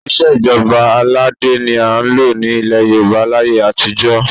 Ìṣe ìjọba aládé ni à ń lò ní ilẹ̀ Yorùbá láyé àtijọ́